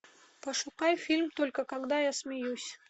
пошукай фильм только когда я смеюсь